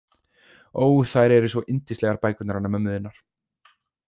Ó, þær eru svo yndislegar bækurnar hennar mömmu þinnar.